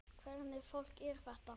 Hvernig fólk er þetta?